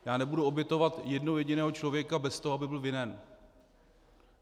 Já nebudu obětovat jednoho jediného člověka bez toho, aby byl vinen.